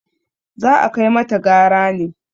za a kai mata gara ne!